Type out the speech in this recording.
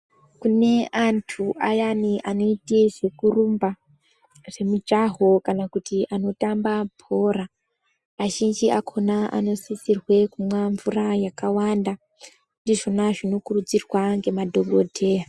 Kune antu ayani anoite zvekurumba zvemijaho kana kuti anotamba bhora azhinji akhona anosisirwe kumwe mvura yakawanda ndizvona zvinokurudzirwe ngemadhokodheya.